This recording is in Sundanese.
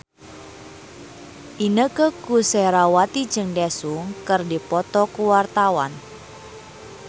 Inneke Koesherawati jeung Daesung keur dipoto ku wartawan